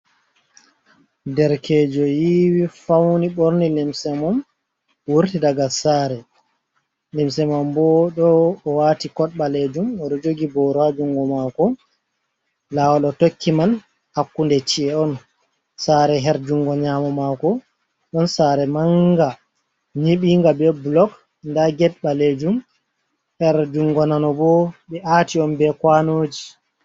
Derkejo yiwi fauni ɓorni limse mum, wurti daga sare, limse mam bo ɗo o wati kod ɓalejum oɗo jogi boro ha jungo mako lawol o tokki man hakkunde ci’e on, sare her jungo nyamo mako ɗon sare manga nyiɓinga be bolok nda ged ɓalejum her jungo nano bo, ɓe ati on be kwanoji.